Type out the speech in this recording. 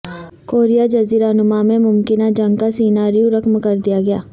Korea جزیرہ نما میں ممکنہ جنگ کا سیناریو رقم کر دیا گیا